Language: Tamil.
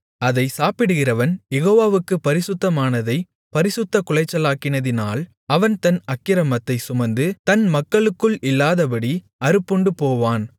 அதைச் சாப்பிடுகிறவன் யெகோவாவுக்குப் பரிசுத்தமானதைப் பரிசுத்தக்குலைச்சலாக்கினதினால் அவன் தன் அக்கிரமத்தைச் சுமந்து தன் மக்களுக்குள் இல்லாதபடி அறுப்புண்டுபோவான்